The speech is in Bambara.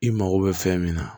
I mago bɛ fɛn min na